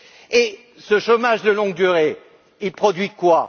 Et ce chômage de longue durée, il produit quoi?